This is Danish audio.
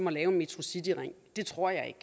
at lave metrocityringen det tror jeg